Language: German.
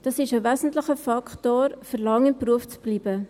Dies ist ein wesentlicher Faktor, um lange im Beruf zu bleiben.